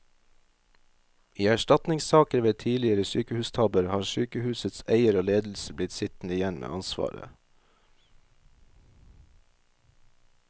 I erstatningssaker ved tidligere sykehustabber har sykehusets eier og ledelse blitt sittende igjen med ansvaret.